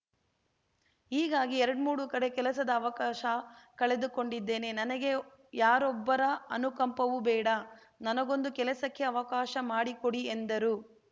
ಹೀಗಾಗಿ ಎರಡ್ಮೂರು ಕಡೆ ಕೆಲಸದ ಅವಕಾಶ ಕಳೆದುಕೊಂಡಿದ್ದೇನೆ ನನಗೆ ಯಾರೊಬ್ಬರ ಅನುಕಂಪವೂ ಬೇಡ ನನಗೊಂದು ಕೆಲಸಕ್ಕೆ ಅವಕಾಶ ಮಾಡಿಕೊಡಿ ಎಂದರು